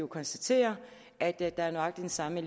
konstatere at der er nøjagtig den samme